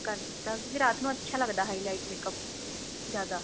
ਕਰ ਦਿੱਤਾ ਰਾਤ ਨੂੰ ਅੱਛਾ ਲੱਗਦਾ highlight makeup ਜਿਆਦਾ